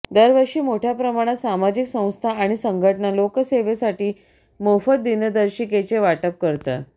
दरवर्षी मोठय़ा प्रमाणात सामाजिक संस्था आणि संघटना लोकसेवेसाठी मोफत दिनदर्शिकेचे वाटप करतात